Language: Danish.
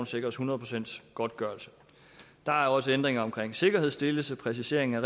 sikres hundrede procent godtgørelse der er også ændringer om sikkerhedsstillelse præcisering af